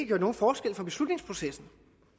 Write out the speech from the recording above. gjort nogen forskel i beslutningsprocessen